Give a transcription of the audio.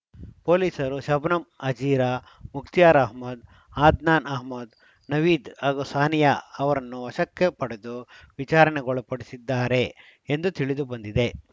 ಪೊಲೀಸರು ಶಬನಮ್‌ ಹಾಜೀರಾ ಮುಕ್ತಿಯಾರ್‌ ಅಹಮದ್‌ ಅದ್ನಾನ್‌ ಅಹಮದ್‌ ನವೀದ್‌ ಹಾಗೂ ಸಾನಿಯಾ ಅವರನ್ನು ವಶಕ್ಕೆ ಪಡೆದು ವಿಚಾರಣೆಗೊಳಪಡಿಸಿದ್ದಾರೆ ಎಂದು ತಿಳಿದು ಬಂದಿದೆ